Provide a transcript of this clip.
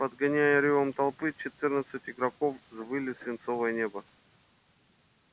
подгоняемые рёвом толпы четырнадцать игроков взмыли в свинцовое небо